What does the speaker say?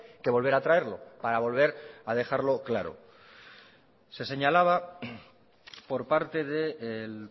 que volver a traerlo para volver a dejarlo claro se señalaba por parte del